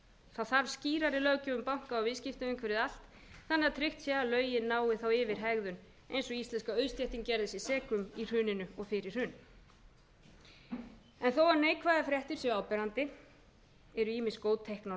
það þarf skýrari löggjöf um banka og viðskiptaumhverfi þannig að tryggt sé að lögin nái yfir hegðun eins og íslenska auðstéttin gerði sig seka um í hruninu og fyrir hrun en þó að neikvæðar fréttir séu áberandi eru ýmis góð teikn á